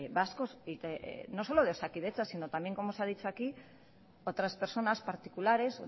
vascos y no solo de osakidetza sino también como se ha dicho aquí otras personas particulares